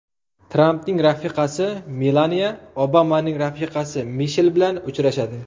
Trampning rafiqasi Melaniya Obamaning rafiqasi Mishel bilan uchrashadi.